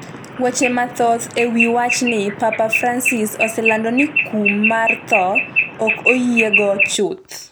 Weche mathoth ewi wachni Papa Francis oselando ni kum mar tho ok oyiego chuth .